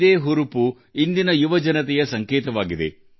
ಈ ಉತ್ಸಾಹ ಇಂದಿನ ಯುವಕರ ಲಕ್ಷಣವಾಗಿದೆ